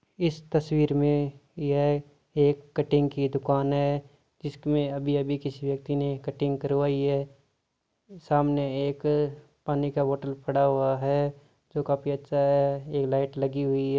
इस तस्वीर में यह एक कटिग की दुकान है जिसमे अभी अभी किसी व्यक्ति ने कटिग करवाई है सामने एक पानी का बोतल पड़ा हुआ है जो काफी अच्छा है एक लाइट लगी हुई है।